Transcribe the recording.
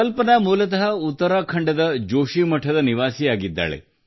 ಕಲ್ಪನಾ ಮೂಲತಃ ಉತ್ತರಾಖಂಡದ ಜೋಷಿ ಮಠದ ನಿವಾಸಿಯಾಗಿದ್ದಾರೆ